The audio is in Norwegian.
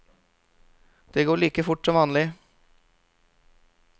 Det går like fort som vanlig.